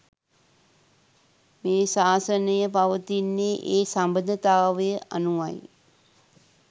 මේ ශාසනය පවතින්නේ ඒ සබඳතාවය අනුවයි.